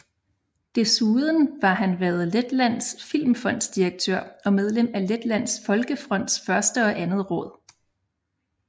Desuden var han været Letlands Filmfonds direktør og medlem af Letlands Folkefronts første og andet råd